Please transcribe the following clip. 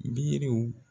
Biriw